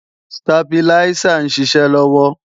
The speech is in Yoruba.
Stabiláísà ń ṣiṣẹ́ lọ́wọ́